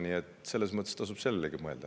Nii et tasub sellelegi mõelda.